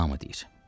Buna mı deyir?